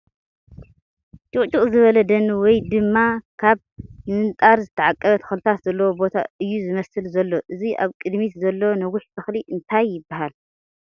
ጭቕጭቕ ዝበለ ደኒ ወይ ድማ ካብ ምምንጣር ዝተዓቐበ ተኽልታት ዘለዎ ቦታ እዩ ዝመስል ዘሎ ፡ እዚ ኣብ ቕድሚት ዘሎ ነዊሕ ተኽሊ እንታይ ይበሃል ?